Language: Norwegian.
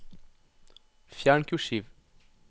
Fjern kursiv